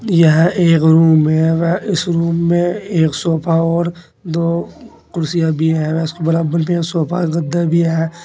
यह एक रूम है व इस रूम में एक सोफा और दो कुर्सियां भी हैं इसके बराबर में सोफा के गद्दा भी है।